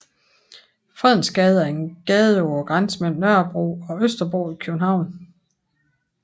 Fredensgade er en gade på grænsen mellem Nørrebro og Østerbro i København